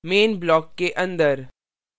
main block के अंदर